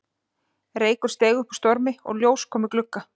Reykur steig upp úr strompi og ljós kom í glugga